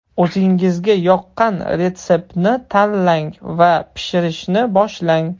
O‘zingizga yoqqan retseptni tanlang va pishirishni boshlang!